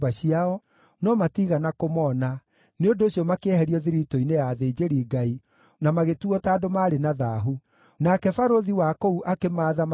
Kũringana na ũhoti wao, nĩmaheanire indo ciigwo kĩgĩĩna-inĩ kĩa wĩra ũcio, makĩheana durakima 61,000 cia thahabu, na betha ratiri 5,000, na nguo 100 cia athĩnjĩri-Ngai.